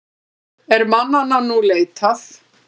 Er mannanna nú leitað.